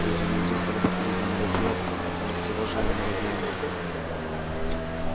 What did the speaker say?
люди внизу стали походить на муравьёв в растревоженном муравейнике